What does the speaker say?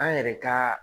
An yɛrɛ ka